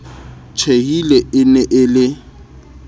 tjhehile e ne e le